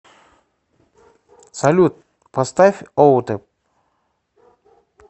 салют поставь отеп